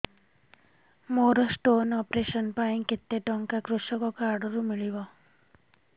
ମୋର stone operation ପାଇଁ କେତେ ଟଙ୍କା କୃଷକ କାର୍ଡ ରୁ ମିଳିବ